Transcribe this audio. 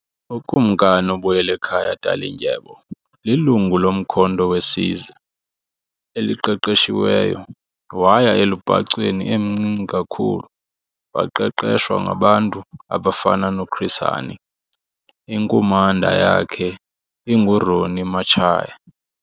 UKumkani uBuyelekhaya Dalindyebo lilungu loMkhonto weSizwe eliqeqeshiweyo waya elubhacweni emncinci kakhulu waqeqeshwa ngabantu abafana noChris Hani, inkumanda yakhe inguRonnie Matshaya.